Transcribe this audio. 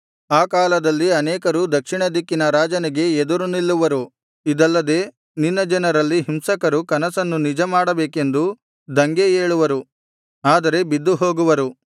ಆ ಕಾಲದಲ್ಲಿ ಅನೇಕರು ದಕ್ಷಿಣ ದಿಕ್ಕಿನ ರಾಜನಿಗೆ ಎದುರು ನಿಲ್ಲುವರು ಇದಲ್ಲದೆ ನಿನ್ನ ಜನರಲ್ಲಿ ಹಿಂಸಕರು ಕನಸನ್ನು ನಿಜ ಮಾಡಬೇಕೆಂದು ದಂಗೆ ಏಳುವರು ಆದರೆ ಬಿದ್ದುಹೋಗುವರು